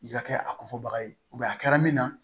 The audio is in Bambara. I ka kɛ a kofɔbaga ye a kɛra min na